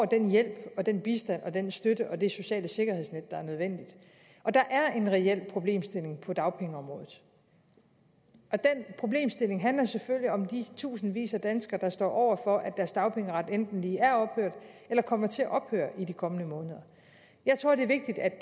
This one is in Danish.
den hjælp og den bistand og den støtte og det sociale sikkerhedsnet der er nødvendigt der er en reel problemstilling på dagpengeområdet og den problemstilling handler selvfølgelig om de tusindvis af danskere der står over for at deres dagpengeret enten lige er ophørt eller kommer til at ophøre i de kommende måneder jeg tror det er vigtigt at